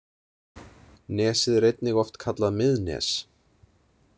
Nesið er einnig oft kallað Miðnes.